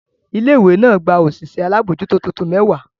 Ilé ìwé náà gba òṣìṣẹ́ aláàbò tuntun mẹ́wàá.